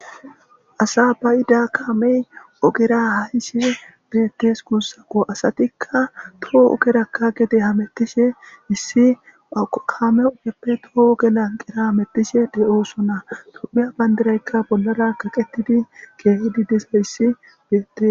asa bayida kaamey ogera hayishe biyettes kuussako asatikka toho ogerakka gede hamettishe issi kaame opeppe too ogelan qera amettishe de7oosona tophiya bandiraykka bollara kaqetidi keehidi disa issi beyette